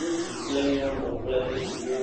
Ŋutsu kple nyɔnu kple ɖeviwo,